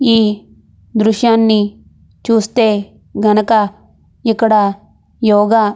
ఈ దృశ్యాన్ని చుస్తే గనక ఇక్కడ యోగ